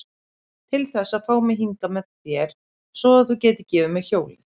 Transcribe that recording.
Til þess að fá mig hingað með þér. svo að þú gætir gefið mér hjólið?